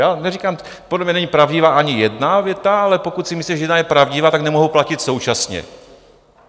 Já neříkám, podle mě není pravdivá ani jedna věta, ale pokud si myslíte, že jedna je pravdivá, tak nemohou platit současně.